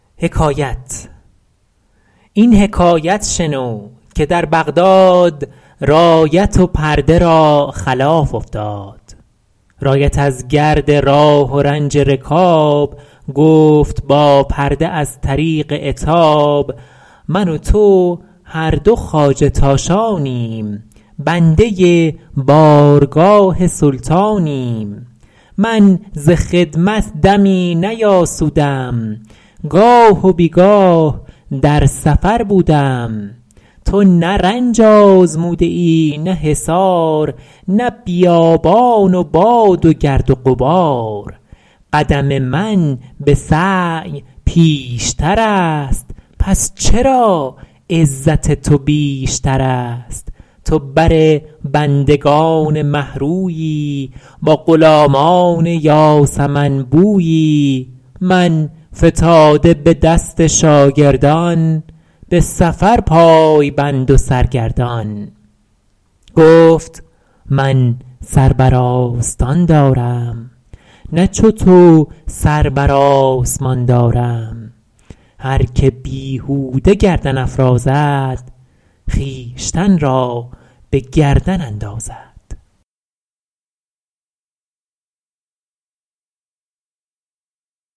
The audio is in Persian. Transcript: این حکایت شنو که در بغداد رایت و پرده را خلاف افتاد رایت از گرد راه و رنج رکاب گفت با پرده از طریق عتاب من و تو هر دو خواجه تاشانیم بنده بارگاه سلطانیم من ز خدمت دمی نیاسودم گاه و بیگاه در سفر بودم تو نه رنج آزموده ای نه حصار نه بیابان و باد و گرد و غبار قدم من به سعی پیشتر است پس چرا عزت تو بیشتر است تو بر بندگان مه رویی با غلامان یاسمن بویی من فتاده به دست شاگردان به سفر پای بند و سرگردان گفت من سر بر آستان دارم نه چو تو سر بر آسمان دارم هر که بیهوده گردن افرازد خویشتن را به گردن اندازد